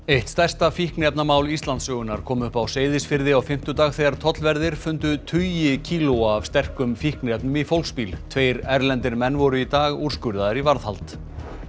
eitt stærsta fíkniefnamál Íslandssögunnar kom upp á Seyðisfirði á fimmtudag þegar tollverðir fundu tugi kílóa af sterkum fíkniefnum í fólksbíl tveir erlendir menn voru í dag úrskurðaðir í varðhald